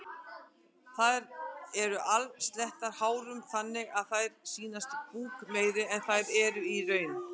Þær eru alsettar hárum þannig að þær sýnast búkmeiri en þær eru í raun.